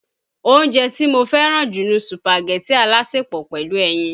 Oúnjẹ tí mo fẹ́ràn jù ni Sùpàgẹ̀tì alásèpọ̀ pẹ̀lú ẹyin.